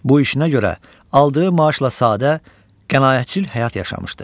Bu işinə görə aldığı maaşla sadə, qənaətcil həyat yaşamışdı.